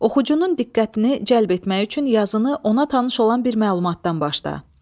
Oxucunun diqqətini cəlb etmək üçün yazını ona tanış olan bir məlumatdan başda.